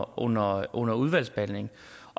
under under udvalgsbehandlingen